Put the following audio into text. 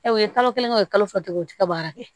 u ye kalo kelen kɛ o ye kalo fila de kɛ u tɛ ka baara kɛ